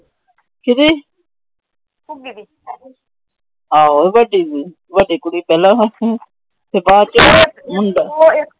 ਕੇਦੀ? ਆਹੋ ਵੱਡੀ। ਵੱਡੀ ਕੁੜੀ ਪਹਿਲਾ ਸੀ। ਤੇ ਬਾਅਦ ਚੋ ਮੁੰਡਾ। ਨਿੱਕੀ ਜਿਹੜੀ ਗੁਰਦੁਆਰੇ ਬਾਹੀ ਸੀ। ਉਹ ਛੋਟੀ ਮੁੰਡੇ।